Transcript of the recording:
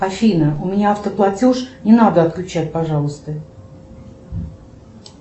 афина у меня автоплатеж не надо отключать пожалуйста